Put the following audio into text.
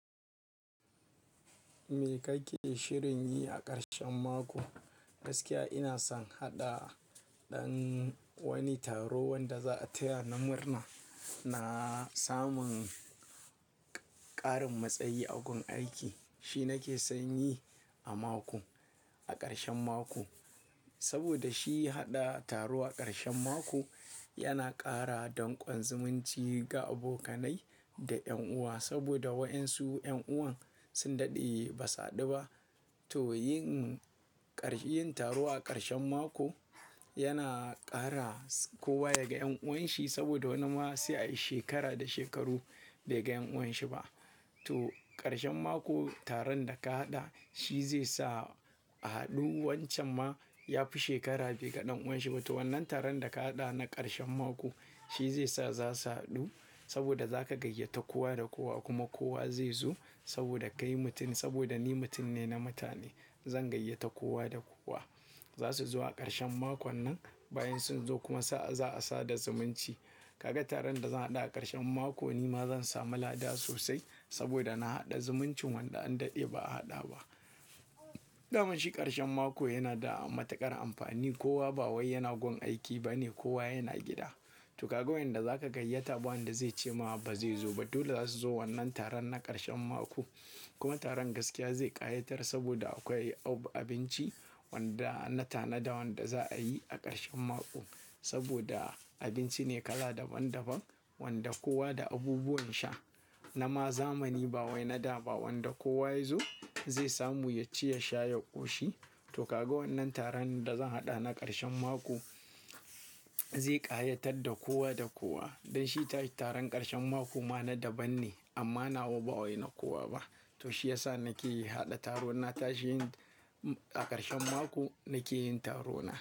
Me kake shirin yi a ƙarshen mako? Gaskiya ina son haɗa wani taro wanda za a taya ni murna na samun ƙarin matsayi a gun aiki. Shi nake son yi a mako, a ƙarshen mako. Saboda shi haɗa taro a ƙarshen mako yana ƙara danƙon zumunci ga abokanai da ƴan uwa. Saboda waɗansu ƴan uwan sun daɗe ba su haɗu ba. To yin ƙar-- yin taro a ƙarshen mako yana ƙara kowa yaga ƴan uwanshi saboda wani ma sai a yi shekara da shekaru bai ga ƴan uwanshi ba. To ƙarshen mako taron da ka haɗa shi zai sa a haɗu. Wancan ma ya fi shekara bai ga ɗan uwanshi ba. To wannan taron da ka haɗa na ƙarshen mako shi zai sa za su haɗu saboda za ka gayyata kowa da kowa kuma kowa zai zo saboda kai mutum, saboda ni mutum ne na mutane. Zan gayyata kowa da kowa. Za su zo a ƙarshen makon nan. Bayan sun zo kuma sa'a za a sada zumunci. Kaga taron da zan haɗa a ƙarshen mako ni ma zan samu lada sosai saboda na haɗa zumuncin wanda an daɗe ba a haɗa ba. Dan shi ƙarshen mako yana da matuƙar amfani. Kowa ba wai yana gun aiki ba ne kowa yana gida. To kaga wanda za ka gayyata ba wanda zai ce ma ba zai zo ba. Duk za su zo wannan taron na ƙarshen mako. Kuma taron gaskiya zai ƙayatar saboda akwai abinci wanda na tanada wanda za a yi a ƙarshen mako. Saboda abinci ne kala daban daban wanda kowa da abubuwan sha. Na ma zamani ba wai na da ba wanda kowa ya zo zai samu yaci, yasha, ya ƙoshi. To kaga wannan taron da zan haɗa na ƙarshen mako zai ƙayatar da kowa da kowa. Dan shi taron ƙarshen mako ma na daban ne amma nawa ba wai na kowa ba. To shi ya sa nake yi haɗa taron na tashi yin a ƙarshen mako nake yin taro na.